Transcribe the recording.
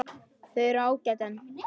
Þau eru ágæt en.